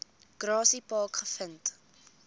grassy park gevind